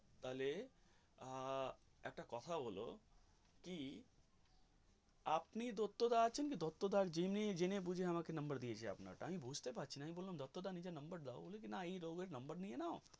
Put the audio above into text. তাহলে আহ একটা কথা হল কি আপনি দত্তদা আছেন কি দত্তদা যেনে, যেনে বুঝে number দিয়েছে আপনারটা আমি বুঝতে পারছি না আমি বললাম দত্তদা নিজের number দাও বলে কি এই লোকের নম্বর দিয়ে নাও.